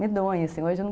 Medonha, assim.